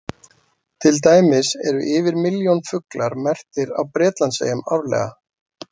Til dæmis eru yfir milljón fuglar merktir á Bretlandseyjum árlega.